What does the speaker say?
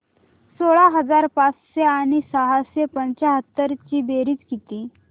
सोळा हजार पाचशे आणि सहाशे पंच्याहत्तर ची बेरीज किती